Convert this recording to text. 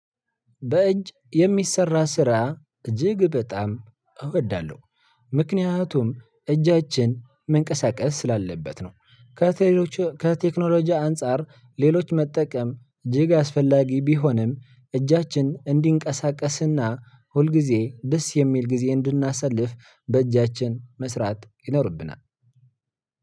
በእጅ የሚሰራ ስራ እጅግ በጣም እወዳለሁ ምክንያቱም እጃችን መንቀሳቀስ ስላለበት ነው። ከቴክኖሎጂ አንፃር ሌሎች መጠቀም እጅግ አስፈላጊ ቢሆንም እጃችን እንዲንቀሳቀስና ሁልጊዜ ደስ የሚል ጊዜ እንድናሳልፍ በእጃችን መስራት ይኖርብናል።